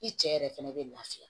I cɛ yɛrɛ fɛnɛ bɛ lafiya